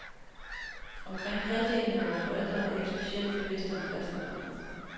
Omkring halvdelen af vore forældre er ikke specielt bevidste om kristendommen.